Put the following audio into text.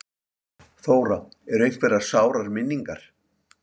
Þóra: Eru einhverjar sárar minningar?